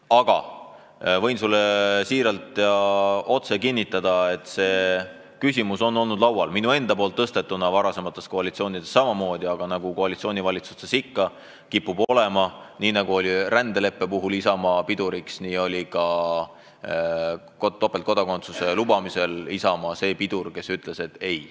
Aga võin sulle kinnitada, et see küsimus on olnud laual minu enda tõstatatuna ka varasemate koalitsioonide ajal, ent nagu koalitsioonivalitsustes ikka kipub olema, nii nagu oli rändeleppe puhul Isamaa piduriks, nii oli ta ka topeltkodakondsuse lubamisel see pidur, kes ütles ei.